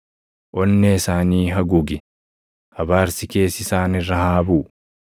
Onnee isaanii haguugi; abaarsi kees isaan irra haa buʼu!